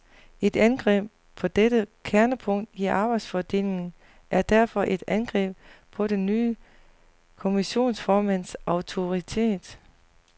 Et angreb på dette kernepunkt i arbejdsfordelingen er derfor et angreb på den nye kommissionsformands autoritet.